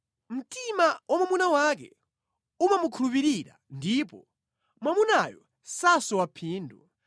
Mtima wa mwamuna wake umamukhulupirira ndipo mwamunayo sasowa phindu.